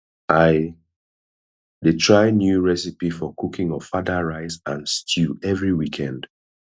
i dey try new recipe for cooking ofada rice and stew every weekend